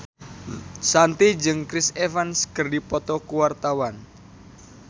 Shanti jeung Chris Evans keur dipoto ku wartawan